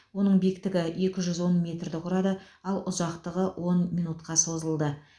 оның биіктігі екі жүз он метрді құрады ал ұзақтығы он минутқа созылды